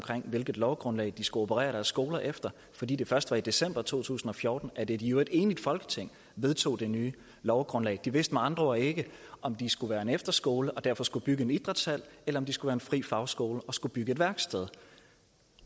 hvilket lovgrundlag de skulle operere deres skoler efter fordi det først var i december to tusind og fjorten at et i øvrigt enigt folketing vedtog det nye lovgrundlag de vidste med andre ord ikke om de skulle være en efterskole og derfor skulle bygge en idrætshal eller om de skulle være en fri fagskole og skulle bygge et værksted